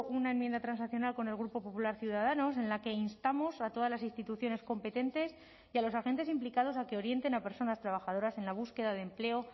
una enmienda transaccional con el grupo popular ciudadanos en la que instamos a todas las instituciones competentes y a los agentes implicados a que orienten a personas trabajadoras en la búsqueda de empleo